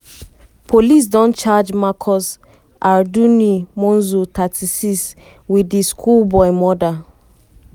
police don charge marcus arduini monzo 36 wit di schoolboy murder.